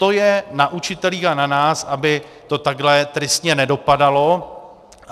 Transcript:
To je na učitelích a na nás, aby to takhle tristně nedopadalo.